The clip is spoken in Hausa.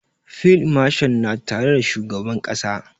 Field marshal na tare da shugaban ƙasa